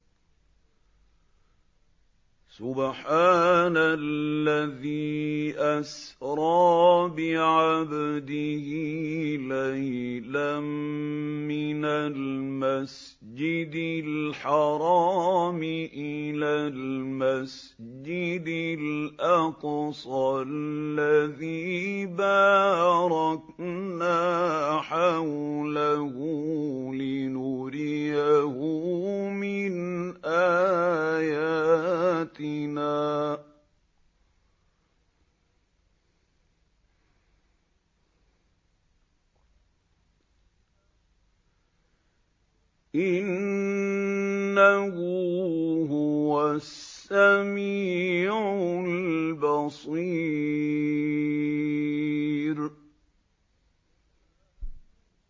سُبْحَانَ الَّذِي أَسْرَىٰ بِعَبْدِهِ لَيْلًا مِّنَ الْمَسْجِدِ الْحَرَامِ إِلَى الْمَسْجِدِ الْأَقْصَى الَّذِي بَارَكْنَا حَوْلَهُ لِنُرِيَهُ مِنْ آيَاتِنَا ۚ إِنَّهُ هُوَ السَّمِيعُ الْبَصِيرُ